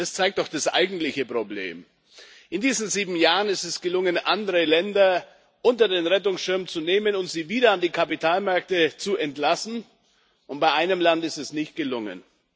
Das zeigt doch das eigentliche Problem In diesen sieben Jahren ist es gelungen, andere Länder unter den Rettungsschirm zu nehmen, um sie wieder an die Kapitalmärkte zu entlassen, und bei einem Land ist es nicht gelungen.